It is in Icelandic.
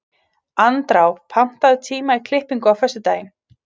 Andrá, pantaðu tíma í klippingu á föstudaginn.